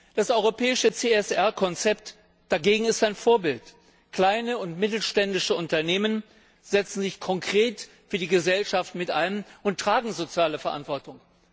Das europäische CSR Konzept dagegen ist ein Vorbild. Kleine und mittelständische Unternehmen setzen sich konkret für die Gesellschaft mit ein und tragen soziale Verantwortung.